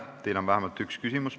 Teile on vähemalt üks küsimus.